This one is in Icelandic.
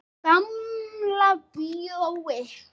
Gamla bíói.